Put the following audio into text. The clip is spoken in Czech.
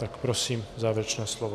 Tak prosím, závěrečné slovo.